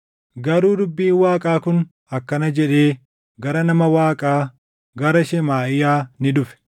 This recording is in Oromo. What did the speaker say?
Garuu dubbiin Waaqaa kun akkana jedhee gara nama Waaqaa, gara Shemaaʼiyaa ni dhufe;